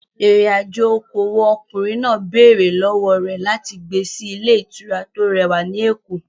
Ìrìn-àjò okòwò ọkùnrin náà béèrè lọ́wọ́ rẹ̀ láti gbé sí ilé ìtura tó rẹwà ní Èkó.